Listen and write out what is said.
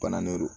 Bananen don